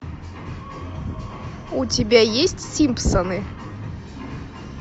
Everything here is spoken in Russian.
у тебя есть симпсоны